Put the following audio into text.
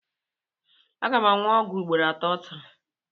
M ga-aṅụ ọgwụ a ugboro atọ taa?